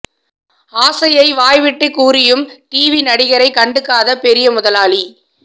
ஆசையை வாய்விட்டுக் கூறியும் டிவி நடிகரை கண்டுக்காத பெரிய முதலாளி